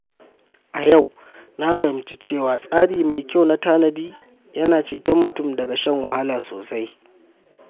A yau, na fahimci cewa tsari mai kyau na tanadi yana ceton mutum daga shan wahala sosai.